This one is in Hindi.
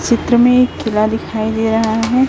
चित्र में एक किला दिखाई दे रहा है।